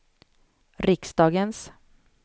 riksdagens